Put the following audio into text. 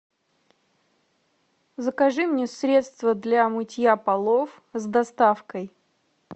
закажи мне средство для мытья полов с доставкой